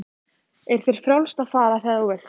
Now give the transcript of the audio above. Er þér frjálst að fara þegar þú vilt?